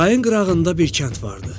Çayın qırağında bir kənd vardı.